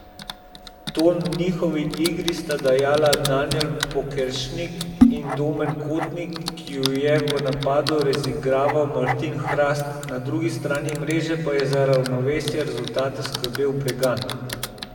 Ton njihovi igri sta dajala Danijel Pokeršnik in Domen Kotnik, ki ju je v napadu razigraval Martin Hrast, na drugi strani mreže pa je za ravnovesje rezultata skrbel Bregant.